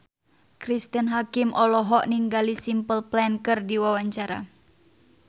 Cristine Hakim olohok ningali Simple Plan keur diwawancara